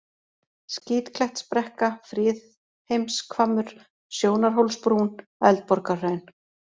Skítklettsbrekka, Friðheimshvammur, Sjónarhólsbrún, Eldborgarhraun